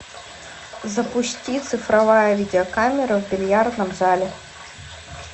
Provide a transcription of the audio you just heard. запусти цифровая видеокамера в бильярдном зале